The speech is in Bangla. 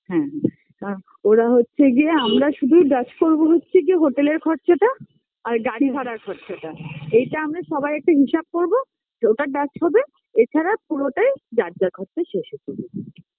হ্যাঁ কা ওরা হচ্ছে গিয়ে আমরা শুধু ডাচ করবো হচ্ছে গিয়ে হোটেলের খরচাটা